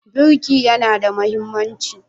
Birki yana da mahimmanci?